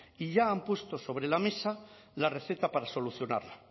y ya han puesto sobre la mesa la receta para solucionarla